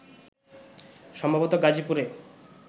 সম্ভবত গাজীপুরে